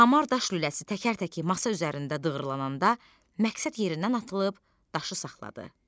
Hamar daş lüləsi təkər-təkər masa üzərində dığırlananda məqsəd yerindən atılıb daşı saxladı.